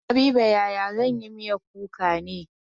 Habiba yaya zan yi miyan kuka ne?